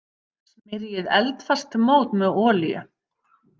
Smyrjið eldfast mót með olíu.